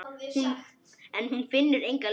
En hún finnur enga lykt.